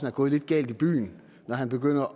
er gået lidt galt i byen når han begynder